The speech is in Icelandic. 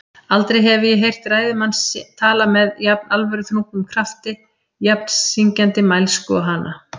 Aldrei hefi ég heyrt ræðumann tala með jafn alvöruþrungnum krafti, jafn syngjandi mælsku og hana.